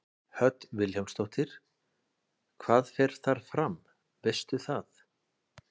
Hödd Vilhjálmsdóttir: Hvað fer þar fram, veistu það?